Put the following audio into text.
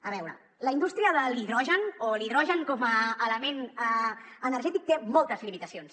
a veure la indústria de l’hidrogen o l’hidrogen com a element energètic té moltes limitacions